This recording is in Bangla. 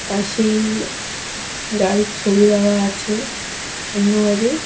পাশেই গাড়ির ছবি দেওয়া আছে অন্য গাড়ির।